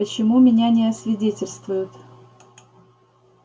почему меня не освидетельствуют